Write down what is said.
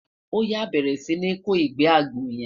oya, bẹrẹ Si ni kò igbe àgbò yen